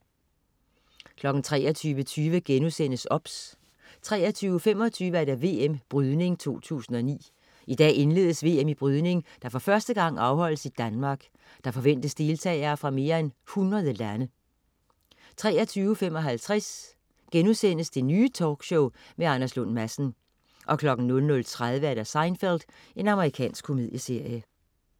23.20 OBS* 23.25 VM Brydning 2009. I dag indledes VM i brydning, der for første gang afholdes i Danmark. Der forventes deltagere fra mere end 100 lande 23.55 Det Nye Talkshow med Anders Lund Madsen* 00.30 Seinfeld. Amerikansk komedieserie